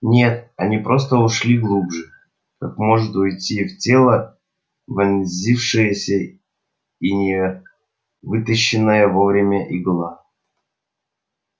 нет они просто ушли глубже как может уйти в тело вонзившаяся и не вытащенная вовремя игла